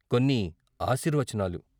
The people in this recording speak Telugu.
కొన్ని ఆశీర్వచనాలు...